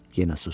Yenə susdu.